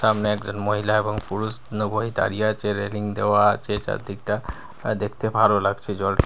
সামনে একজন মহিলা এবং পুরুষ নব হয়ে দাঁড়িয়ে রয়েছে রেলিং দেওয়া আছে চারদিকটা আর দেখতে ভালো লাগছে জল--